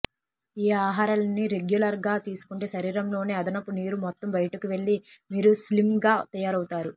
ఈ ఆహారాలన్నీ రెగ్యులర్ గా తీసుకుంటే శరీరంలోని అదనపు నీరు మొత్తం బయటకు వెళ్లి మీరు స్లిమ్ గా తయారవుతారు